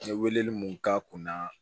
N ye weleli mun k'a kun na